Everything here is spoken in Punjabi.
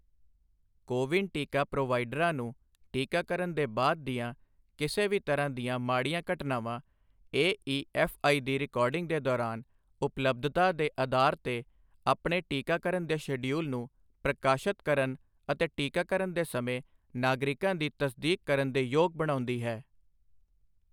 ਕੋਵਿਨ ਟੀਕਾ ਪ੍ਰੋਵਾਈਡਰਾਂ ਨੂੰ ਟੀਕਾਕਰਨ ਦੇ ਬਾਅਦ ਦੀਆਂ ਕਿਸੇ ਵੀ ਤਰ੍ਹਾਂ ਦੀਆਂ ਮਾੜੀਆਂ ਘਟਨਾਵਾਂ ਏਈਐਫਆਈ ਦੀ ਰਿਕਾਰਡਿੰਗ ਦੇ ਦੌਰਾਨ, ਉਪਲਬਧਤਾ ਦੇ ਅਧਾਰ ਤੇ ਆਪਣੇ ਟੀਕਾਕਰਨ ਦੇ ਸ਼ਡਿਊਲ ਨੂੰ ਪ੍ਰਕਾਸ਼ਤ ਕਰਨ ਅਤੇ ਟੀਕਾਕਰਨ ਦੇ ਸਮੇਂ ਨਾਗਰਿਕਾਂ ਦੀ ਤਸਦੀਕ ਕਰਨ ਦੇ ਯੋਗ ਬਣਾਉਂਦੀ ਹੈ।